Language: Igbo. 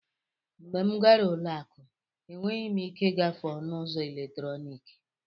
Mgbe m gara ụlọ akụ, enweghị m ike ịgafe ọnụ ụzọ eletrọnịkị.